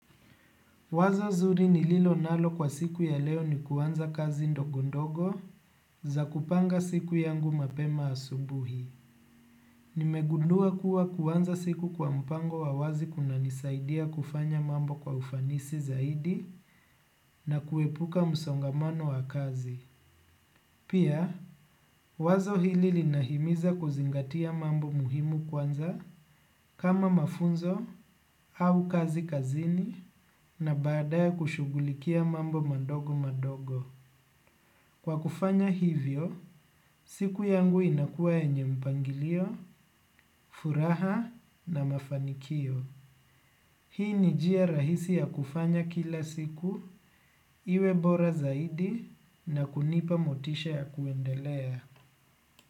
Wazo zuri nililo nalo kwa siku ya leo ni kuanza kazi ndogo ndogo za kupanga siku yangu mapema asubuhi. Nimegundua kuwa kuanza siku kwa mpango wa wazi kunanisaidia kufanya mambo kwa ufanisi zaidi na kuepuka msongamano wa kazi. Pia, wazo hili linahimiza kuzingatia mambo muhimu kwanza kama mafunzo au kazi kazini na badaye kushugulikia mambo madogo madogo. Kwa kufanya hivyo, siku yangu inakua yenye mpangilio, furaha na mafanikio. Hii ni njia rahisi ya kufanya kila siku, iwe bora zaidi na kunipa motisha ya kuendelea.